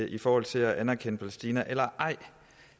i forhold til at anerkende palæstina eller ej